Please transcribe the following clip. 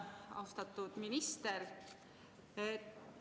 Austatud minister!